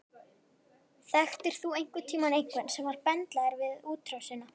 Þekktir þú einhvern tíman einhvern sem var bendlaður við útrásina?